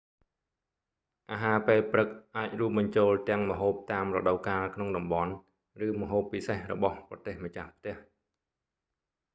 អាហារពេលព្រឹកអាចរួមបញ្ចូលទាំងម្ហូបតាមរដូវកាលក្នុងតំបន់ ឬម្ហូបពិសេសរបស់ប្រទេសម្ចាស់ផ្ទះ